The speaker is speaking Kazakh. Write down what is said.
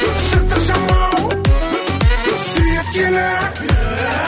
жыртық жамау сүйреткені